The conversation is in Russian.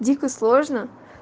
дико сложно